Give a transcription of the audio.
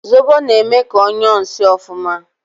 Zobo na eme ka onyuo nsi ofuma